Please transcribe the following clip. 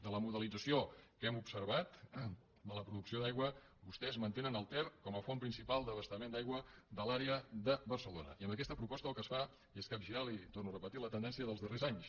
de la modelització que hem observat de la producció d’aigua vostès mantenen el ter com a font principal d’abastament d’aigua de l’àrea de barcelona i amb aquesta proposta el que es fa és capgirar li ho torno a repetir la tendència dels darrers anys